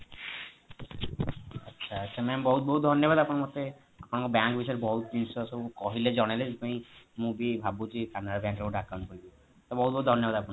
ଆଚ୍ଛା ma'am ବହୁତ ବହୁତ ଧନ୍ୟବାଦ ଆପଣ ମତେ ଆମ bank ବିଷୟରେ ବହୁତ ଜିନିଷ କହିଲେ ଜଣେଇଲେ ସେଥିପାଇଁ ମୁଁ ବି ଭାବୁଛି canara bank ରେ ଗୋଟେ account ଖୋଲିବି ତ ବହୁତ ବହୁତ ଧନ୍ୟବାଦ ଆପଣଙ୍କୁ